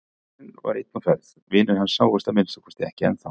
Strákurinn var einn á ferð, vinir hans sáust að minnsta kosti ekki ennþá.